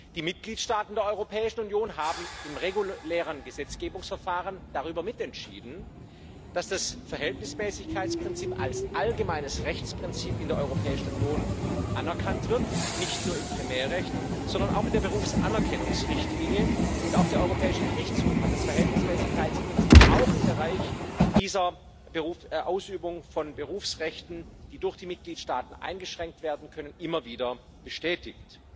Die Mitgliedstaaten der Europäischen Union haben im regulären Gesetzgebungsverfahren darüber mitentschieden, dass das Verhältnismäßigkeitsprinzip als allgemeines Rechtsprinzip in der Europäischen Union anerkannt wird nicht nur im Primärrecht, sondern auch in der Berufsanerkennungsrichtlinie. Auch der Europäische Gerichtshof hat das Verhältnismäßigkeitsprinzip auch im Bereich dieser Ausübung von Berufsrechten, die durch die Mitgliedstaaten eingeschränkt werden können, immer wieder bestätigt.